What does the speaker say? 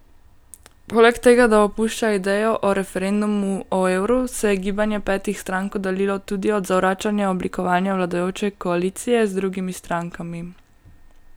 Poleg tega, da opušča idejo o referendumu o evru, se je Gibanje petih strank oddaljilo tudi od zavračanja oblikovanja vladajoče koalicije z drugimi strankami.